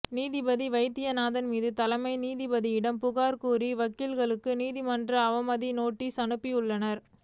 நீதிபதி வைத்தியநாதன் மீது தலைமை நீதிபதியிடம் புகார் கூறிய வக்கீல்களுக்கு நீதிமன்ற அவமதிப்பு நோட்டீஸ் அனுப்பப்பட்டுள்ளது